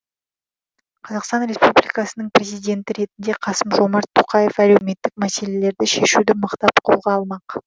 қазақстан республикасының президенті ретінде қасым жомарт тоқаев әлеуметтік мәселелерді шешуді мықтап қолға алмақ